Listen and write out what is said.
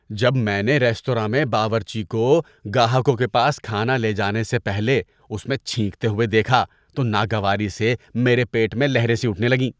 جب میں نے ریستوراں میں باورچی کو گاہکوں کے پاس کھانا لے جانے سے پہلے اس میں چھینکتے ہوئے دیکھا تو ناگواری سے میرے پیٹ میں لہریں سی اٹھنے لگیں۔